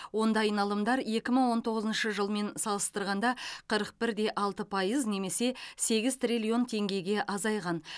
онда айналымдар екі мың он тоғызыншы жылмен салыстырғанда қырық бір де алты пайыз немесе сегіз триллион теңгеге азайған